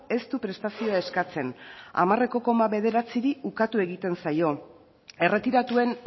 ez du prestazioa eskatzen ehuneko hamar koma bederatziri ukatu egiten zaio erretiratuen